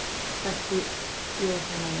Bætti Jóhanna við.